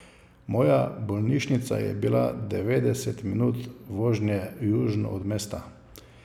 Moja bolnišnica je bila devetdeset minut vožnje južno od mesta.